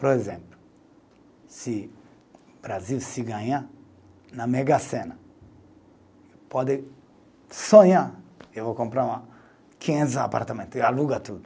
Por exemplo, se Brasil se ganhar na Mega Sena, pode sonhar, eu vou comprar quinhentos apartamento, e aluga tudo.